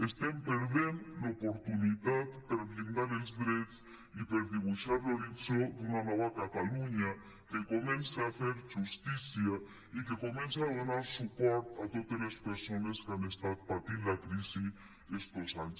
estem perdent l’oportunitat per blindar els drets i per dibuixar l’horitzó d’una nova catalunya que comenci a fer justícia i que comenci a donar suport a totes les persones que han estat patint la crisi aquestos anys